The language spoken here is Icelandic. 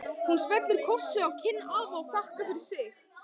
Hún smellir kossi á kinn afa og þakkar fyrir sig.